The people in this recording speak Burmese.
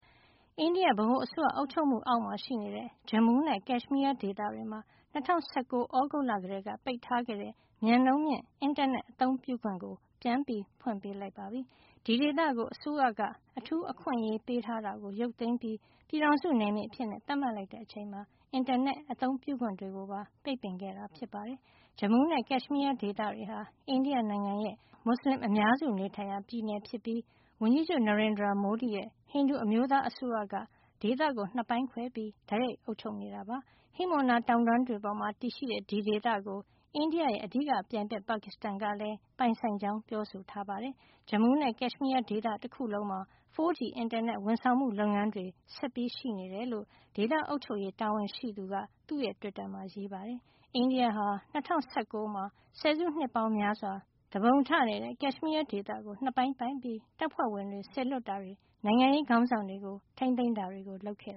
အိန္ဒိယ ဗဟိုအစိုးရအုပ်ချုပ်မှုအောက်မှာရှိနေတဲ့ Jammu နဲ့ Kashmir ဒေသတွေမှာ ၂၀၁၉ ခုနှစ်၊ သြဂုတ်လကတည်းက ပိတ်ပင်ထားခဲ့တဲ့ မြန်နှုန်းမြင့် အင်တာနက်အသုံးပြုခွင့် ပြန်ဖွင့်ပေးလိုက်ပါပြီ။ ဒီဒေသကို အစိုးရက အထူးအခွင့်အရေးပေးထားတာကို ရုပ်သိမ်းပြီး ပြည်ထောင်စုနယ်မြေအဖြစ် သပ်မှတ်လိုက်တဲ့အချိန်မှာ အင်တာနက် အသုံးပြုခွင့်တွေပါ ပ ိတ်ပင်ခဲ့တာပါ။ Jammu and Kashmir ဒေသတွေဟာ အိန္ဒိယနိုင်ငံရဲ့ မွတ်ဆလင်အများစုနေထိုင်ရာ ပြည်နယ်ဖြစ်ပြီး ဝန်ကြီးချုပ် Narendra Modi ရဲ့ ဟိန္ဒူအမျိုးသားအစိုးရက ဒေသကို နှစ်ပိုင်းခွဲပြီး တိုက်ရိုက် အုပ်ချုပ်လျက်ရှိပါတယ်။ ဟိမဝန္တာတောင်တန်းတွေပေါ်မှာ တည်ရှိတဲ့ ဒီဒေသကို အိန္ဒိယရဲ့ အဓိကပြိုင်ဘက် ပါကစ္စတန်ကလည်း ပိုင်ဆိုင်ကြောင်း ပြောဆိုနေတာပါ။ “ ဂျမူးနဲ့ကတ်ရှ်မီးယားဒေသတခုလုံးမှာ 4G အင်တာနက် ဝန်ဆောင်မှုလုပ်ငန်းတွေ ဆက်ပြီးရှိနေတယ်” လို့ဒေသ အုပ်ချုပ်ရေးတာဝန်ရှိသူ Rohit Kansal က သူ့ရဲ့ Twitter မှာ ရေးသားထားပါတယ်။ အိန္ဒိယဟာ ၂၀၁၉ မှာ ဆယ်စုနှစ်ပေါင်းများစွာ သူပုန်ထနေတဲ့ Kashmir ဒေသကို နှစ်ပိုင်းပိုင်းပြီး တပ်ဖွဲ့ဝင်တွေစေလွှတ်တာတွေ၊ နိုင်ငံရေးခေါင်းဆောင်တွေကို ထိန်းသိမ်းတာတွေလုပ်ခဲ့